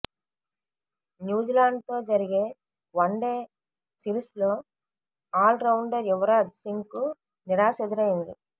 న్యూజిలాండ్తో జరిగే వన్డే సిరిస్లో ఆల్ రౌండర్ యువరాజ్ సింగ్కు నిరాశ ఎదురైంది